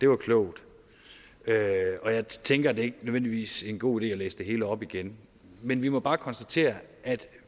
var klogt og jeg tænker at det ikke nødvendigvis er en god idé at læse det hele op igen men vi må bare konstatere at